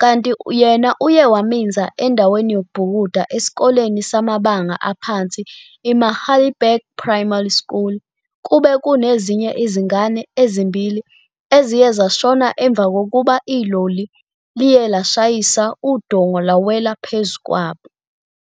kanti yena uye waminza endaweni yokubhukuda esikoleni samabanga aphansi i-Magalieburg Primary School kube kunezinye izingane ezimbili eziye zashona emva kokuba iloli liye lashayisa udonga lwawela phezu kwabo.